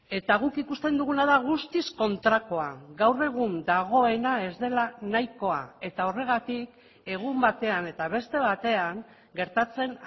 eta guk ikusten duguna da guztiz kontrakoa gaur egun dagoena ez dela nahikoa eta horregatik egun batean eta beste batean gertatzen